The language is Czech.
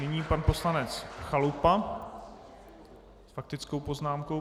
Nyní pan poslanec Chalupa s faktickou poznámkou.